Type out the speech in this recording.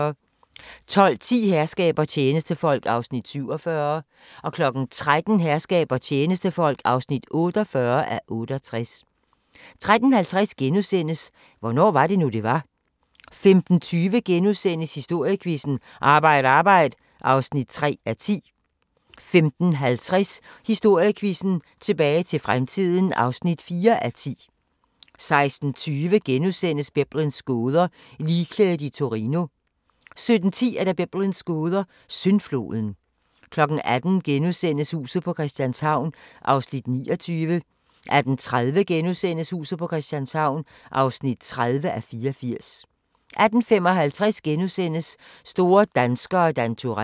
12:10: Herskab og tjenestefolk (47:68) 13:00: Herskab og tjenestefolk (48:68) 13:50: Hvornår var det nu, det var? * 15:20: Historiequizzen: Arbejd Arbejd (3:10)* 15:50: Historiequizzen: Tilbage til fremtiden (4:10) 16:20: Biblens gåder – Ligklædet i Torino * 17:10: Biblens gåder – Syndfloden 18:00: Huset på Christianshavn (29:84)* 18:30: Huset på Christianshavn (30:84)* 18:55: Store danskere – Dan Turell *